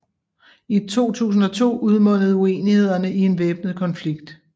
I 2002 udmundede uenighederne i en væbnet konflikt